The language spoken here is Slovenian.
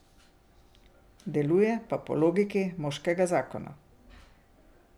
Deluje pa po logiki moškega Zakona.